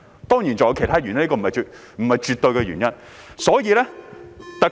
當然，還有其他原因，這並非絕對的原因。